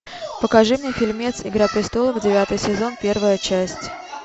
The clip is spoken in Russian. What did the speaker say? покажи мне фильмец игра престолов девятый сезон первая часть